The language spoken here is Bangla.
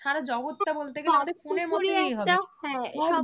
হ্যাঁ